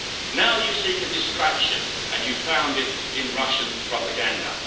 Now you seek a distraction and you found it in Russian propaganda.